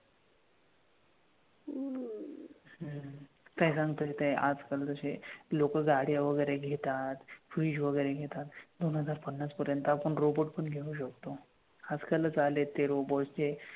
हम्म काही सांगता येत नाही. आजकाल जसे लोकं गाड्या वगैरे घेतात, fridge वगैरे घेतात दोन हजार पन्नास पर्यंत आपण robot पण घेऊ शकतो. आजकालच आलेयत ते robot जे,